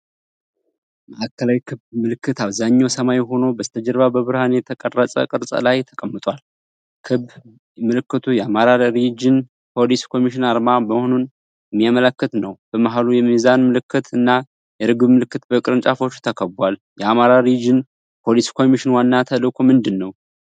ማዕከላዊ ክብ ምልክት አብዛኛው ሰማያዊ ሆኖ በስተጀርባ በብርሃን የተቀረጸ ቅርፅ ላይ ተቀምጧል። ክብ ምልክቱ የአማራ ሪጅን ፖሊስ ኮሚሽን አርማ መሆኑን የሚያመላክት ነው። በመሃሉ የሚዛን ምልክት እና የርግብ ምልክት በቅርንጫፎች ተከቧል። የአማራ ሪጅን ፖሊስ ኮሚሽን ዋና ተልእኮ ምንድነው?